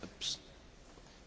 Panie Przewodniczący!